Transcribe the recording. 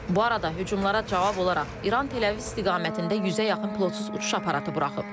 Bu arada hücumlara cavab olaraq İran Tel-Əviv istiqamətində yüzə yaxın pilotsuz uçuş aparatı buraxıb.